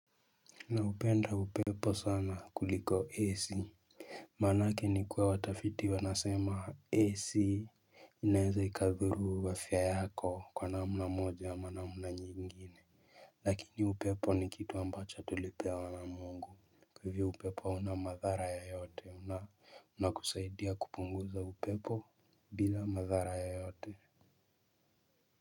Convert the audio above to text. Na hupenda upepo sana kuliko AC manake ni kuwa watafiti wanasema AC inaeza ikadhuru afya yako kwa namna moja ama namna nyingine lakini upepo ni kitu ambacho tulipewa na mungu hivi upepo hauna madhara yeyote na kusaidia kupunguza upepo bila madhara yoyote.